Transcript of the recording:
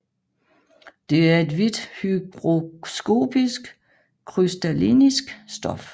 Det er et hvidt hygroskopisk krystallinsk stof